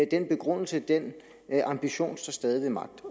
den begrundelse den ambition står stadig ved magt